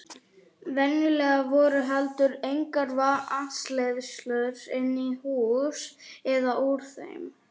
Venjulega voru heldur engar vatnsleiðslur inn í hús eða úr þeim.